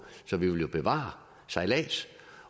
så vi vil jo bevare sejlads